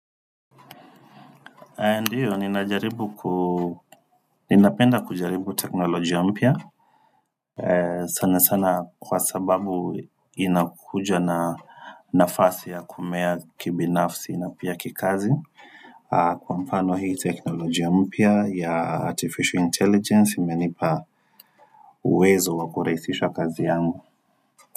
Ndiyo, ninapenda kujaribu teknolojia mpya, sana sana kwa sababu inakuja na nafasi ya kumea kibinafsi na pia kikazi, kwa mfano hii teknolojia mpya ya artificial intelligence imenipa uwezo wa kurahisisha kazi yangu.